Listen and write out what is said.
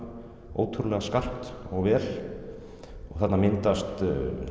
ótrúlega skarpt og vel og þarna myndast